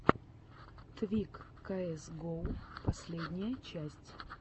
твик каэс гоу последняя часть